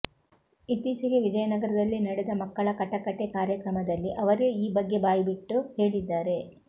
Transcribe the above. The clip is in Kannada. ಇತ್ತೀಚೆಗೆ ವಿಜಯನಗರದಲ್ಲಿ ನಡೆದ ಮಕ್ಕಳ ಕಟಕಟೆ ಕಾರ್ಯಕ್ರಮದಲ್ಲಿ ಅವರೇ ಈ ಬಗ್ಗೆ ಬಾಯಿಬಿಟ್ಟು ಹೇಳಿದ್ದಾರೆ